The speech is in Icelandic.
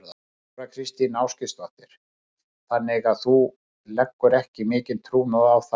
Þóra Kristín Ásgeirsdóttir: Þannig að þú leggur ekki mikinn trúnað á það?